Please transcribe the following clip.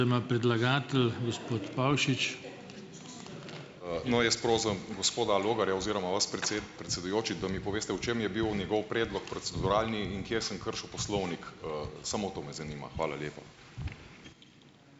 No, jaz prosim gospoda Logarja oziroma vas predsedujoči, da mi poveste, v čem je bil njegov predlog proceduralni in kje sem kršil poslovnik . Samo to me zanima. Hvala lepa.